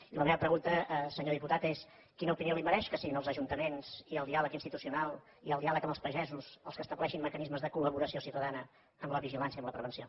i la meva pregunta senyor diputat és quina opinió li mereix que siguin els ajuntaments i el diàleg institucional i el diàleg amb els pagesos els que estableixin mecanismes de col·laboració ciutadana en la vigilància en la prevenció